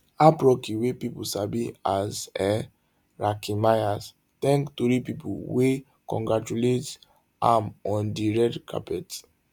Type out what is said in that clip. aap rocky wey pipo sabi as um rakim mayers thank tori pipo wey congratulates am on di red carpet